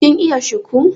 kin iya shiku